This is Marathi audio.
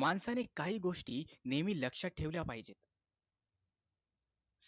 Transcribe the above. माणसाने काही गोष्टी नेहमी लक्षात ठेवल्या पाहिजेत